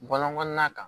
Bɔlɔn kɔnɔna kan